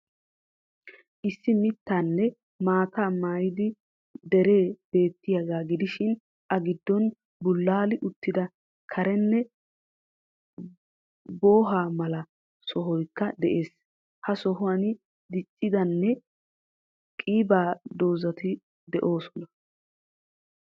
Issi mittaanne maataa maayida deree beettiyagaa gidishiin a gidoon bulaali uttida keranne booho mala sohoykka dees. Ha sohuwaan diccidanne qiiba dozzattikka de'oosonna.